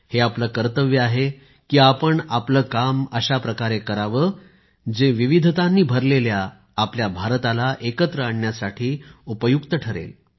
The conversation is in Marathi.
हे आपले कर्तव्य आहे की आपण आपले काम अशाप्रकारे करावे जे विविधतांनी भरलेल्या आपल्या भारताला एकत्र आणण्यासाठी उपयुक्त ठरेल